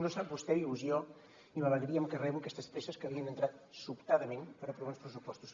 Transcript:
no sap vostè la il·lusió i l’alegria amb què rebo aquestes presses que li han entrat sobtadament per aprovar uns pressupostos